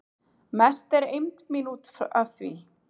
Mest er eymd mín út af því